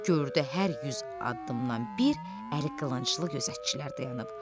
Gördü hər yüz addımdan bir əli qılınclı gözətçilər dayanıb.